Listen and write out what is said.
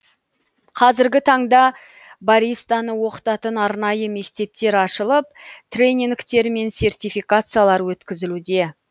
қазіргі таңда баристаны оқытатын арнайы мектептер ашылып тренингтер мен сертификациялар өткізілуде